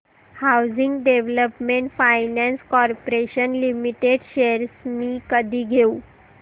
housing development finance corporation limited shares मी कधी घेऊ